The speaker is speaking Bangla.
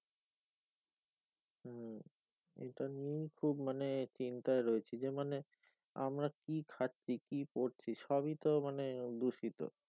এটাই নিয়ে খুব মানে চিন্তায় রয়েছি যে মানে আমরা কি খাচ্ছি কি পরছি সবি তো মানে দূষিত